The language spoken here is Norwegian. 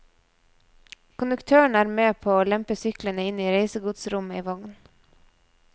Konduktøren er med på å lempe syklene inn i reisegodsrommet i vognen.